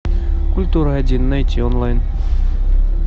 культура один найти онлайн